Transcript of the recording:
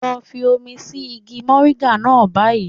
Lọ fi omi sí igi mòríńgà náà báyìí.